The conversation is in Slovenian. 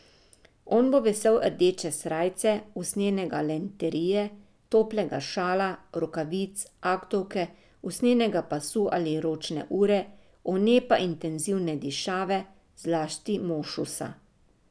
On bo vesel rdeče srajce, usnjene galanterije, toplega šala, rokavic, aktovke, usnjenega pasu ali ročne ure, one pa intenzivne dišave, zlasti mošusa.